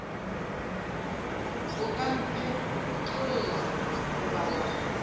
o ka mphetlolla goba wa